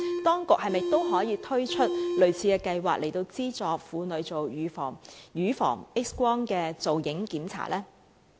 當局可否推出類似計劃，資助婦女接受乳房 X 光造影檢查呢？